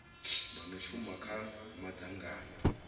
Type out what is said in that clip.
vha no shuma kha madzangano